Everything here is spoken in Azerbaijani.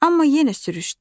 Amma yenə sürüşdü.